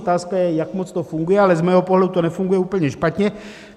Otázka je, jak moc to funguje, ale z mého pohledu to nefunguje úplně špatně.